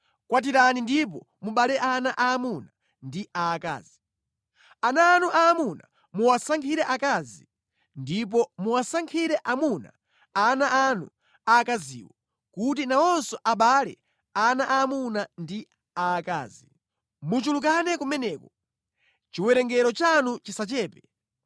Kwatirani ndipo mubereke ana aamuna ndi aakazi. Ana anu aamuna muwasankhire akazi ndipo muwasankhire amuna ana anu aakaziwo, kuti nawonso abale ana aamuna ndi aakazi. Muchulukane kumeneko. Chiwerengero chanu chisachepe.